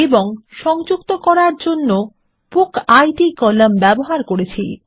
এবং সংযুক্ত করার জন্য বুকিড কলাম ব্যবহার করেছি